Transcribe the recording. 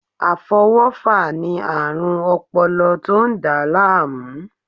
Afọwọfa ni aarun ọpọlọ to n da laamu